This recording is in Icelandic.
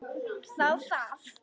Þá það.